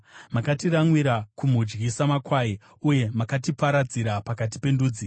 Makatiramwira kumudyi samakwai uye makatiparadzira pakati pendudzi.